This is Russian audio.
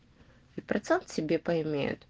и процент себе поимеют